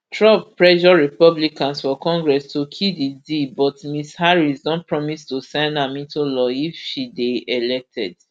trump pressure republicans for congress to kill di deal but ms harris don promise to sign am into law if she dey elected